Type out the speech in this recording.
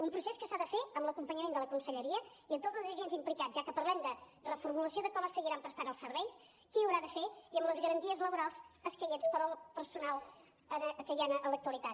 un procés que s’ha de fer amb l’acompanyament de la conselleria i amb tots els agents implicats ja que parlem de reformulació de com es seguiran prestant els serveis qui ho haurà de fer i amb les garanties laborals escaients per al personal que hi ha en l’actualitat